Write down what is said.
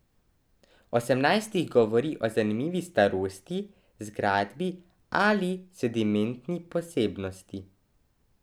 Osemnajst jih govori o zanimivi starosti, zgradbi ali sedimentni posebnosti.